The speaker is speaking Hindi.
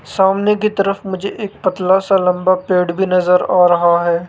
सामने की तरफ मुझे एक पतला सा लंबा पेड़ भी नजर आ रहा है।